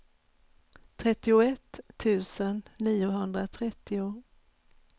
trettioett tusen niohundratrettio